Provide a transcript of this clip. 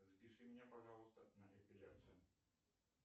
запиши меня пожалуйста на эпиляцию